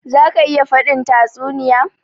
Za ka iya faɗin tatsuniya?